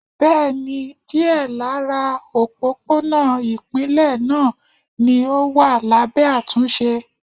Bẹ́ẹ̀ni, díẹ̀ lára òpópónà ipinle náà ni ó wà lábẹ́ àtúnṣe.